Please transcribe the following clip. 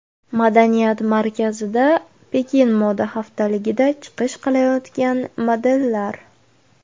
Madaniyat markazida Pekin moda haftaligida chiqish qilayotgan modellar.